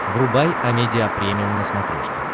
врубай амедиа премиум на смотрешке